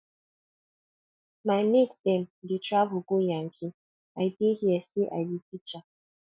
my mate dem dey travel go yankee i dey here say i be teacher